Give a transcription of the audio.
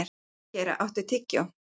Sigurgeira, áttu tyggjó?